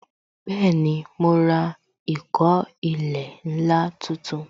Bẹẹni, mo ra ìkó ilẹ̀ ńlá tuntun